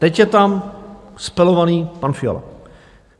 Teď je tam spelovaný pan Fiala.